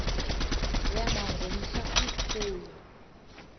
yaba ngumhla omkhulu